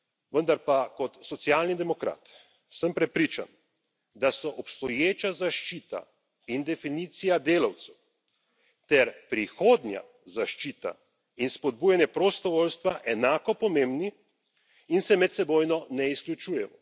Vendar pa kot socialni demokrat sem prepričan, da sta obstoječa zaščita in definicija delavcev ter prihodnja zaščita in spodbujanje prostovoljstva enako pomembni in se medsebojno ne izključujeta.